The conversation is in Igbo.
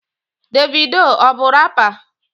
Davido ọ bu rapa?